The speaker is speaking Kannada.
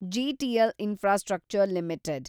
GTL infrastructure limited